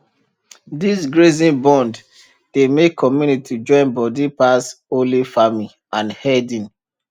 this grazing bond dey make community join body pass only farming and herding